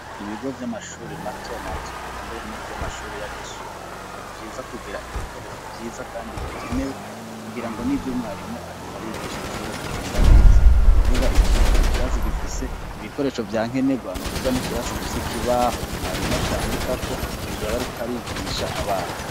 Ibigo vy'amashuri matomato kambere n'ivyo amashuri y'abisumbuye ni vyiza kugira ibikoresho vyiza, kandi bikenewe kugira ngo n'ivyo umwarimo arikarigisha bishobore kugenda neza ukuvuga ikirasi gifise ibikoresho vya nke nerwano kuvwa n'ikirasi gifise kibaho mwarimo ashandikako mu gihe abarikarigisha abana.